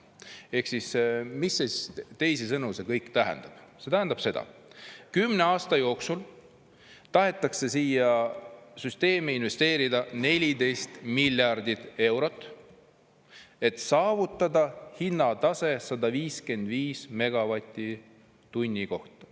Ehk teisisõnu, mis see kõik tähendab – see tähendab seda, et kümne aasta jooksul tahetakse siia süsteemi investeerida 14 miljardit eurot, et saavutada hinnatase 155 megavatti tunni kohta.